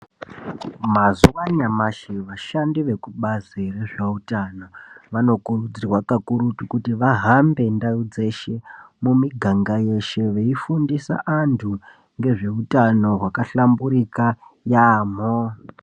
Mazuwa anyamashi vashandi vekubazi rezveutano vanokurudzirwa kakurutu kuti vahambe ndau dzeshe mumiganga yeshe veifundisa antu ngezveutano wakahlamburika yaamho.